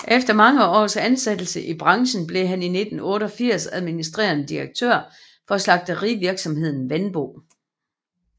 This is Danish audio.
Efter mange års ansættelse i branchen blev han i 1988 administrerende direktør for slagterivirksomheden Wenbo